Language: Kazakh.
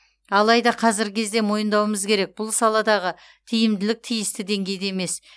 алайда қазіргі кезде мойындауымыз керек бұл саладағы тиімділік тиісті деңгейде емес